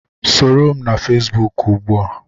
Soro m na Fesbuk ugbu a!